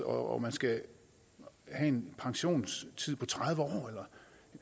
og man skal have en pensionstid på tredive år